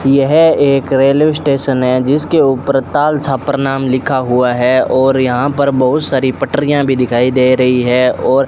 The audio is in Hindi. यह एक रेलवे स्टेशन है जिसके ऊपर ताल छापर नाम लिखा हुआ है और यहां पर बहुत सारी पटरिया भी दिखाई दे रही है और --